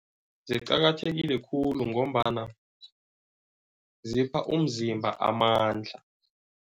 Ziqakathekile khulu ngombana zipha umzimba amandla.